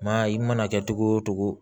Maa i mana kɛ togo o togo